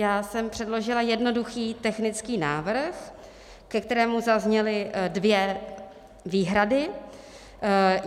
Já jsem předložila jednoduchý technický návrh, ke kterému zazněly dvě výhrady.